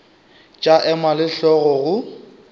tša ema le hlogo go